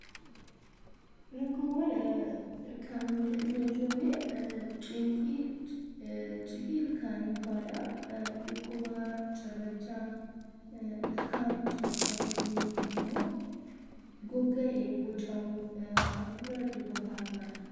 Rakkoowwan ilkaanii inni ijooni; ciqii ilkaanii fa'aadha. Dhukkuba cirrachaa, ilkaan caccabuu yookiin immoo gogayee bocamu fi hafuura dibataa fa'aadha.